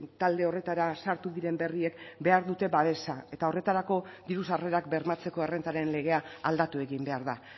talde horretara sartu diren berriek behar dute babesa eta horretarako diru sarrerak bermatzeko errentaren legea aldatu egin behar da